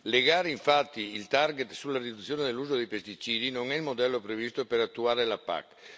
Legare infatti il target sulla riduzione dell'uso dei pesticidi non è il modello previsto per attuare la PAC.